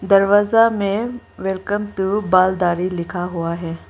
दरवाजा में welcome to बाल दारी लिखा हुआ है।